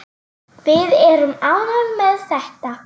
Við erum ánægð með þetta.